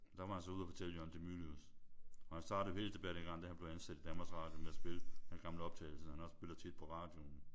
Der var han så ude at fortælle Jørgen de Mylius. Og han startede helt tilbage dengang da han blev ansat i Danmarks Radio med at spille de gamle optagelser han også spillede tit på radioen